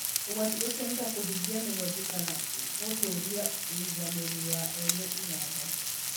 Ũgwati ũcio nĩ ta kũhingia mĩhothi kana gũtũũria ũiganĩri wa ene iganda.